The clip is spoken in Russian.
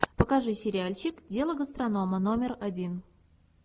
покажи сериальчик дело гастронома номер один